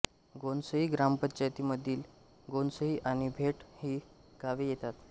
घोणसई ग्रामपंचायतीमध्ये घोणसई आणि मेट ही गावे येतात